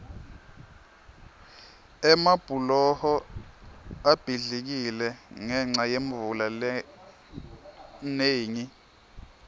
emabhuloho abhidlikile ngenca yemvula lenengi